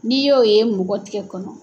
N'i y'o ye mɔgɔ tigɛ kɔnɔ